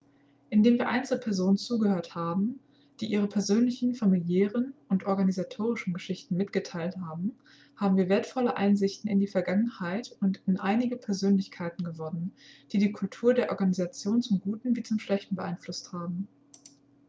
indem wir einzelpersonen zugehört haben die ihre persönlichen familiären und organisatorischen geschichten mitgeteilt haben haben wir wertvolle einsichten in die vergangenheit und in einige persönlichkeiten gewonnen die die kultur der organisation zum guten wie zum schlechten beeinflusst haben